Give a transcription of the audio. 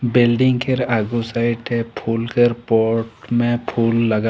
बिल्डिंग केर आगो साइडे फूल केर पोट में फूल लगल।